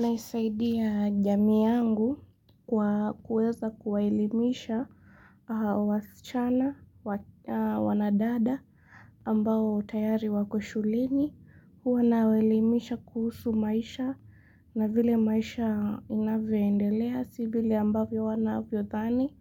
Naisaidia jamii yangu kwa kuweza kuwaelimisha wasichana wanadada ambao tayari wako shuleni. Huwa nawaelimisha kuhusu maisha na vile maisha inavyo endelea si vile ambavyo wanavyothani